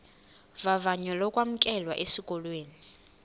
vavanyo lokwamkelwa esikolweni